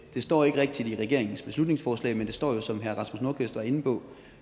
det står ikke rigtig i regeringens beslutningsforslag men det står som herre rasmus nordqvist var inde på